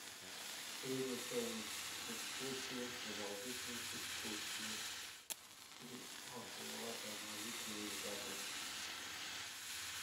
средняя стоимость экскурсии продолжительность экскурсии и оплата наличными или картой